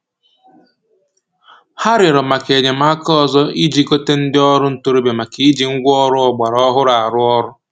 Ha rịọrọ maka enyemaka ọzọ iji gota ndị ọrụ ntoroọbịa maka iji ngwa ọrụ ọgbara ọhụrụ arụ ọrụ